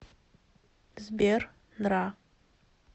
сбер нра